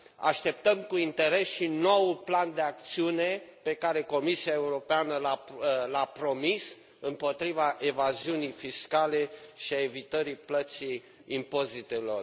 Așteptăm cu interes și noul plan de acțiune pe care Comisia Europeană l a promis împotriva evaziunii fiscale și a evitării plății impozitelor.